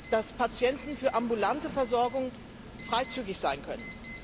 dass Patienten für ambulante Versorgung freizügig sein können.